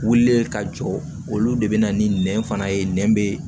Wulilen ka jɔ olu de be na ni nɛn fana ye nɛn be